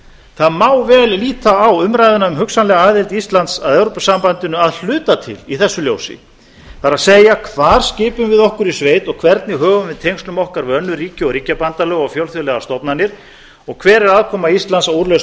það má vel líta á umræðuna um hugsanlega aðild íslands að evrópusambandinu að hluta til í þessu ljósi það er hvar skipum við okkur í sveit og hvernig högum við tengslum okkar við önnur ríki og ríkjabandalög og fjölþjóðlegar stofnanir og hver er aðkoma íslands að úrlausn